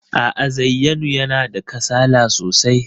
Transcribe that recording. A'a, Zayyanu yana da kasala sosai.